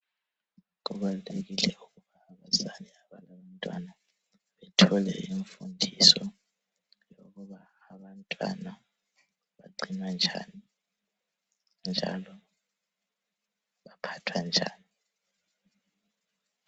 Kubalulekile ukuba abazali abalabantwana bathole imfundiso yokuba abantwana bagcinwa njani njalo baphathwa njani.